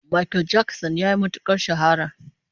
Makel Jakson yayi matukar shahara